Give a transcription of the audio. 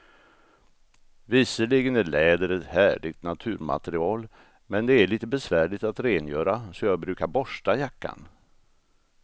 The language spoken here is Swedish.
Visserligen är läder ett härligt naturmaterial, men det är lite besvärligt att rengöra, så jag brukar borsta jackan.